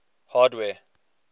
hardware